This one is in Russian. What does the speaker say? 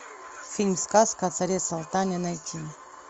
фильм сказка о царе салтане найти